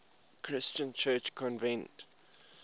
christian church convened